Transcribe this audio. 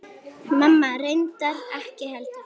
Mamma reyndar ekki heldur.